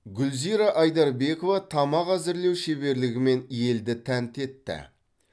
гүлзира айдарбекова тамақ әзірлеу шеберлігімен елді тәнті етті